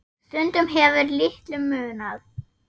Stundum hefur litlu munað.